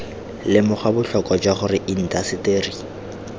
lemoga botlhokwa jwa gore indaseteri